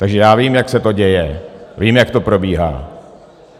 Takže já vím, jak se to děje, vím, jak to probíhá.